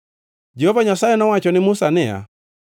Jehova Nyasaye nowacho ne Musa niya,